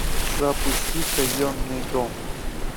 запусти казенный дом